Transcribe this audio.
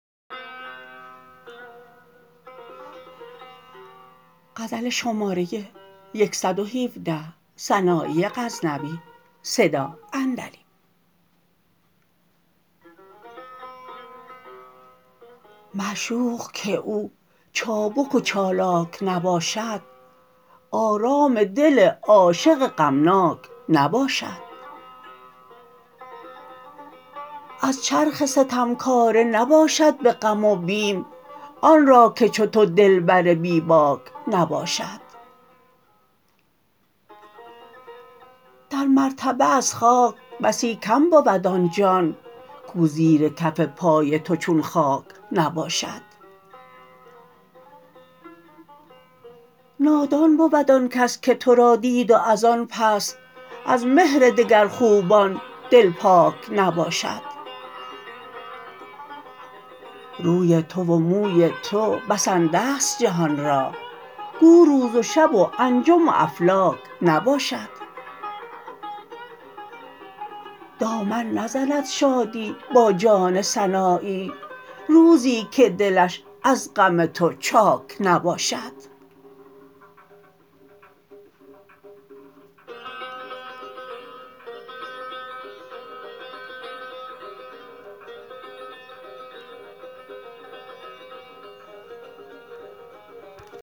معشوق که او چابک و چالاک نباشد آرام دل عاشق غمناک نباشد از چرخ ستمکاره نباشد به غم و بیم آن را که چو تو دلبر بی باک نباشد در مرتبه از خاک بسی کم بود آن جان کو زیر کف پای تو چون خاک نباشد نادان بود آنکس که ترا دید و از آن پس از مهر دگر خوبان دل پاک نباشد روی تو و موی تو بسنده ست جهان را گو روز و شب و انجم و افلاک نباشد دامن نزند شادی با جان سنایی روزی که دلش از غم تو چاک نباشد